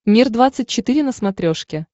мир двадцать четыре на смотрешке